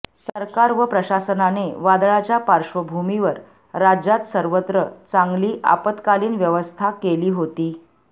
सरकार व प्रशासनाने वादळाच्या पार्श्वभूमीवर राज्यात सर्वत्र चांगली आपत्कालिन व्यवस्था केली होती